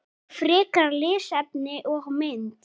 Frekara lesefni og mynd